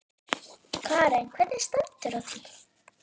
Karen: Hvernig stendur á því?